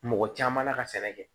Mɔgɔ caman na ka sɛnɛ kɛ